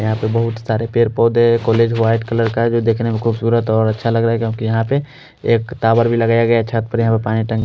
यहाँ पर बोहोत सारे पेड़ पोधे कोलेज वाइट कलर का है जो दिखने मे खुबसूरत और अच्छा लग रहा है क्योकि यहाँ प एक टावेर भी लगाया गया है छत पर है पानी की टंकी--